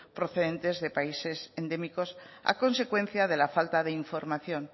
procedentes de países endémicos a consecuencia de la falta de información